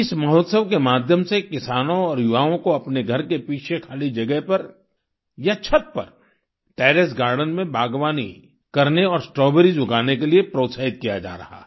इस महोत्सव के माध्यम से किसानों और युवाओं को अपने घर के पीछे खाली जगह पर या छत पर टेरेस गार्डेन में बागवानी करने और स्ट्रॉबेरीज उगाने के लिए प्रोत्साहित किया जा रहा है